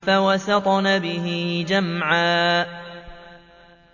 فَوَسَطْنَ بِهِ جَمْعًا